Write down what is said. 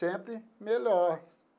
Sempre melhor.